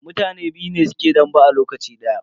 Mutane biyu ne suke dambe a lokaci daya.